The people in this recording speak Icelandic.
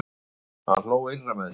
Hann hló innra með sér.